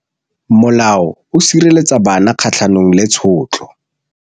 Molao o sireletsa bana kgatlhanong le tshotlo.